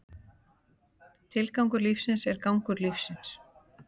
Tilgangur lífsins er gangur lífsins.